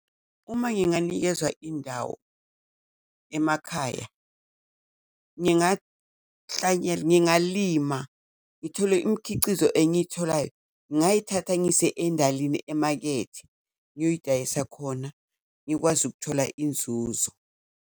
Uma nginganikezwa indawo emakhaya ngingalima ngithole imikhicizo engiyitholayo, ngayithatha ngise endalini emakethe ngiyoyidayisa khona ngikwazi ukuthola inzuzo.